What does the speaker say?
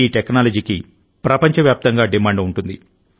ఈ టెక్నాలజీకి ప్రపంచవ్యాప్తంగా డిమాండ్ ఉంటుంది